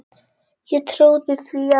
Ég trúði því að